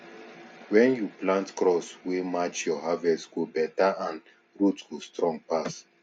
when you plant crops wey match your harvest go better and root go strong pass